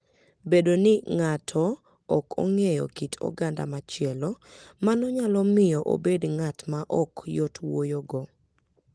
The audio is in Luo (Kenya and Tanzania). Bedo ni ng'ato ok ong'eyo kit oganda machielo, mano nyalo miyo obed ng'at maok yot wuoyogo.